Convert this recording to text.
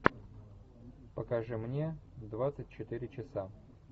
покажи мне двадцать четыре часа